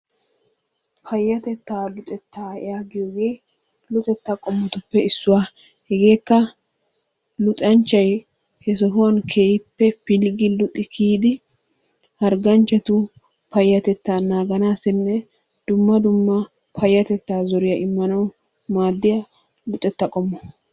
Payyatettaa luxettaa yaagiyogee luxettaa qommotuppe issuwa. Hegewkka luxanchchay he sohuwan keehippe pilggi luxi kiyidi hargganchchatu payyatettaa naaganaassinne payyatettaa zoriya immanawu maaddiya luxetta qommo.